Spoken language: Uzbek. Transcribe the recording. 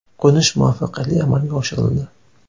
Qo‘nish muvaffaqiyatli amalga oshirildi.